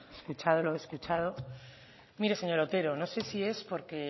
escuchado lo escuchado mire señor otero no sé si es porque